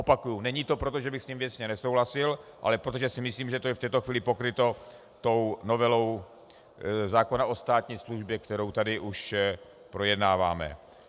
Opakuji, není to proto, že bych s ním věcně nesouhlasil, ale protože si myslím, že je to v této chvíli pokryto tou novelou zákona o státní službě, kterou tady už projednáváme.